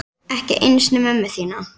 Ekki einu sinni mömmu þína.